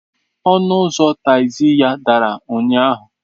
Ọnụ ụzọ tagzi ya dara ụnyahụ.